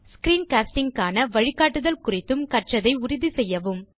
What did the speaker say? screen castingக்கான வழிக்காட்டுதல் குறித்தும் கற்றதை உறுதி செய்யவும்